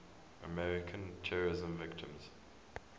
american terrorism victims